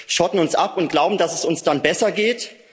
Wir schotten uns ab und glauben, dass es uns dann besser geht.